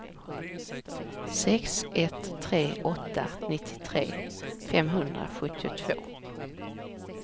sex ett tre åtta nittiotre femhundrasjuttiotvå